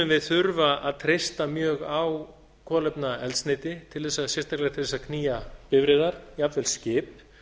við þurfa að treysta mjög á kolefnaeldsneyti sérstaklega til að knýja bifreiðar jafnvel skip